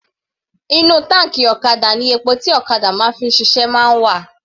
Inú táǹkì ọ̀kadà ni epo tí ọ̀kadà máa ń fi ṣiṣẹ́ máa ń wà.